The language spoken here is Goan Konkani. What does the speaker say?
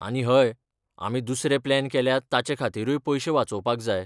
आनी हय, आमी दुसरे प्लॅन केल्यात ताचे खातीरूय पयशे वाचोवपाक जाय.